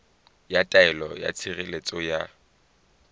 ya taelo ya tshireletso ya